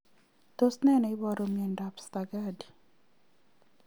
Tos nee neiparu miondop Stargardt